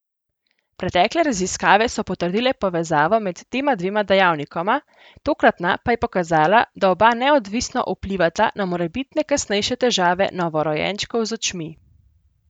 Pretekle raziskave so potrdile povezavo med tema dvema dejavnikoma, tokratna pa je pokazala, da oba neodvisno vplivata na morebitne kasnejše težave novorojenčkov z očmi.